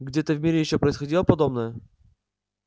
где-то в мире ещё происходило подобное